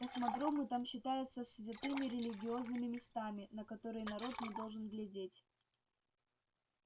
космодромы там считаются святыми религиозными местами на которые народ не должен глядеть